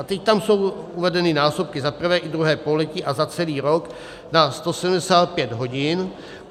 A teď tam jsou uvedeny násobky za prvé i druhé pololetí a za celý rok na 175 hodin.